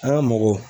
An ka mɔgɔw